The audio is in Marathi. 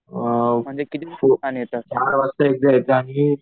अ म्हणजे चार वाजता एकदा येतं आणि